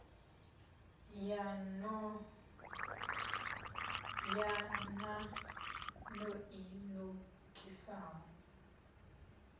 ya nan o i nokisaho